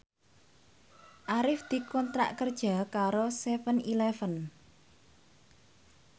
Arif dikontrak kerja karo seven eleven